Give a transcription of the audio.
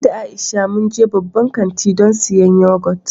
Ni da Aisha mun je babban kanti don siyan yagot.